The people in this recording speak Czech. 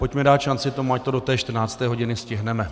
Pojďme dát šanci tomu, ať to do té 14. hodiny stihneme.